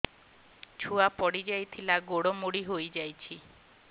ଛୁଆ ପଡିଯାଇଥିଲା ଗୋଡ ମୋଡ଼ି ହୋଇଯାଇଛି